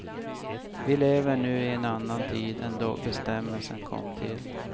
Vi lever nu i en annan tid än då bestämmelsen kom till.